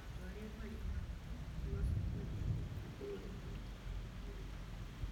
Andũ arĩa marĩ na wathe nĩ mabataraga kũbuatĩrĩrũo nĩ ataaramu a ũgima wa mwĩrĩ